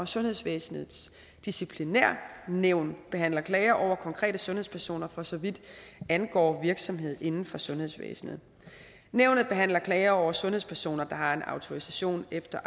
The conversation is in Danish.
sundhedsvæsenets disciplinærnævn behandler klager over konkrete sundhedspersoner for så vidt angår virksomhed inden for sundhedsvæsenet nævnet behandler klager over sundhedspersoner der har en autorisation efter